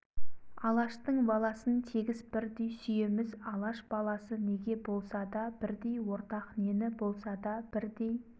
алаштың баласын тегіс бірдей сүйеміз алаш баласы неге болса да бірдей ортақ нені болса да бірдей